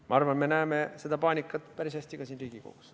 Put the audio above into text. Ma arvan, me näeme seda paanikat päris hästi ka siin Riigikogus.